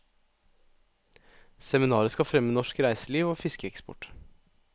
Seminaret skal fremme norsk reiseliv og fiskeeksport.